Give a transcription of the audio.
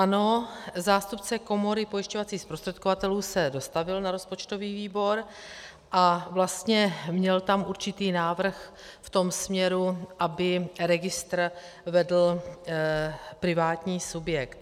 Ano, zástupce Komory pojišťovacích zprostředkovatelů se dostavil na rozpočtový výbor a vlastně měl tam určitý návrh v tom směru, aby registr vedl privátní subjekt.